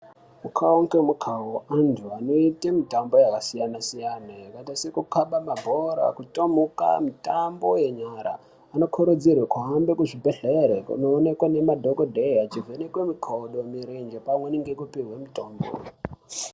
Mukawo nge mukawo antu anoite mitambo yaka siyana siyana yakaita seku kaba mabhora ku tomhuka mitambo ye nyara ano kurudzirwe kuhambe ku zvibhedhleri kuno onekwa ne madhokodheya echi vhenekwe mikodo mirenje pamweni ngeku pihwe mutombo.